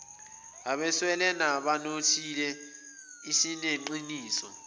abeswele nabanothile sineqiniso